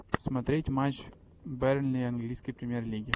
смотреть матч бернли английской премьер лиги